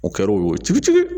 O kɛr'o cogo ci